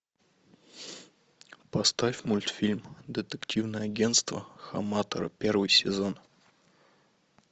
поставь мультфильм детективное агентство хаматора первый сезон